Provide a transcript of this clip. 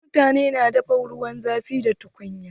Wasu mutanen na dafa ruwan zafi da tukunya.